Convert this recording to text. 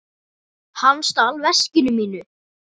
Hann stal veskinu mínu.